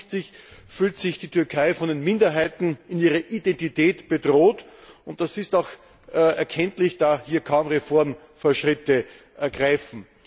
Offensichtlich fühlt sich die Türkei von den Minderheiten in ihrer Identität bedroht, und das ist auch erkenntlich, da hier kaum Reformfortschritte greifen.